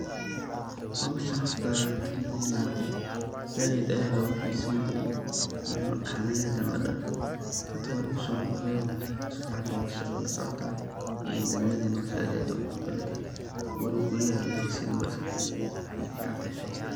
Howshan horta dagmadena anaka said aya logaxiseyni jire mar dhexdan aya hadana ladafay, hada wa lugusonoqdayo sifican ayey howsha ukala socota degmadena aad iyo aad ayey uqurux badantahay walow gurya an laheysani balse wey ficantahay said.